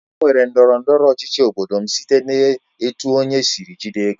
Emere ndọrọ ndọrọ ọchịchị n'obodo m site n'etu onye sịrị jide ego